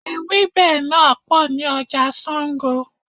Ewẹ́bẹ̀ náà pò ní ọjà Sango.